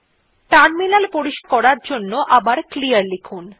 terminal পরিষ্কার করার জন্য আবার ক্লিয়ার লিখুন